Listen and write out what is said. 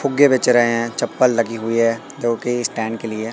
फुग्गे बेच रहे हैं चप्पल लगी हुई है क्योंकि स्टैंड के लिए--